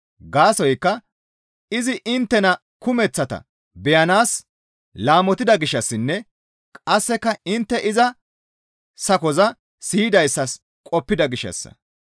Gaasoykka izi inttena kumeththata beyanaas laamotida gishshassinne qasseka intte iza sakoza siyidayssas qoppida gishshassa.